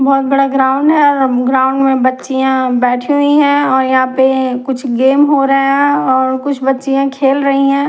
बहुत बडा ग्राउंड हैं और ग्राउंड में बछिया बैठी हुई हैं और यहाँ पे कुछ गेम हो रहा हैं और कुछ बच्चियां खेल रही हैं।